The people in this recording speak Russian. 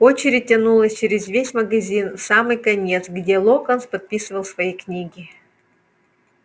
очередь тянулась через весь магазин в самый конец где локонс подписывал свои книги